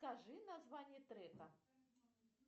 скажи название трека